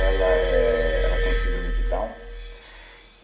Ela éh, ela tem síndrome de Down.